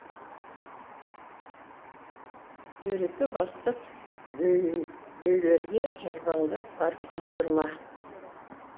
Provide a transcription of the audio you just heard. дөрекі бастық дөйлерге жарбаңдап барып бас ұрма